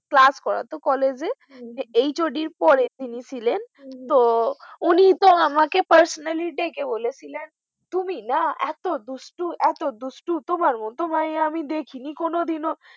class করা তো college এর HOD পরে তিনি ছিলেন, তো আমাকে personally ডেকেছিলেন তুমি না এত দুষ্টু এত দুষ্টু তোমার মত মাইয়া আমি দেখিনি কোনদিনও